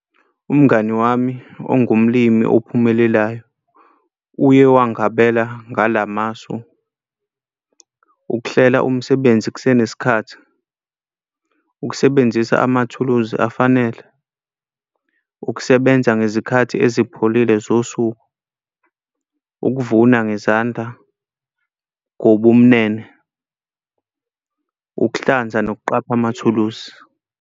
Umngani wami ongumlimi ophumelelayo uye wangabela ngala masu. Ukuhlela umsebenzi kusenesikhathi, ukusebenzisa amathuluzi afanele, ukusebenza ngezikhathi ezipholile zosuku, ukuvuna ngezandla ngobumnene, ukuhlanza nokuqapha amathuluzi.